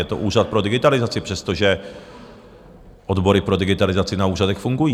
Je to Úřad pro digitalizaci, přestože odbory pro digitalizaci na úřadech fungují.